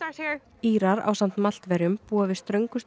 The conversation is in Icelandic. Írar ásamt Maltverjum búa við ströngustu